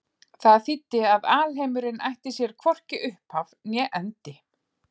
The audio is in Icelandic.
Það þýddi að alheimurinn ætti sér hvorki upphaf né endi.